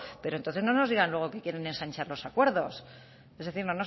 pero entonces no nos digan luego que quieren ensanchar los acuerdos es decir